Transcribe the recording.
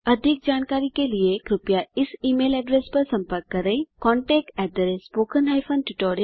अधिक जानकारी के लिए कृपया contactspoken tutorialorg पर लिखें